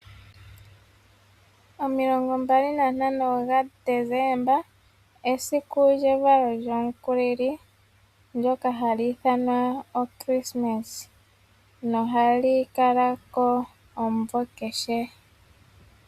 O 25 gaDesemba esiku lyevalo lyomukulili ndyoka hali ithanwa o krismas nohali kala ko omumvo kehe.